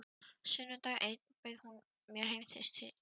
Sunnudag einn bauð hún mér heim til sín.